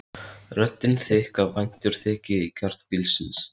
Röddin þykk af væntumþykju í garð bílsins.